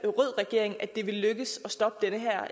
rød regering var lykkedes at stoppe den